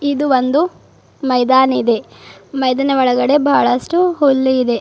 ಇದು ಒಂದು ಮೈದಾನ ಇದೆ ಮೈದನ ಒಳಗಡೆ ಬಹಳಷ್ಟು ಹುಲ್ಲು ಇದೆ.